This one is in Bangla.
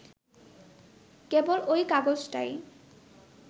কেবল ঐ কাগজটাই